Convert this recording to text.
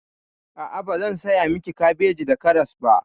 A'a, bazan saya miki kabeji da karas ba.